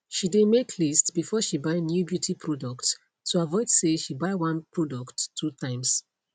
she dae make list before she buy new beauty products to avoid say she buy one product two times